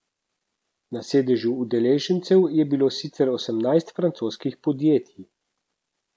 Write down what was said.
Na seznamu udeležencev je bilo sicer osemnajst francoskih podjetij.